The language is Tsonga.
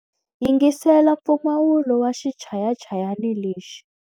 Yingisela mpfumawulo wa xichayachayani lexi.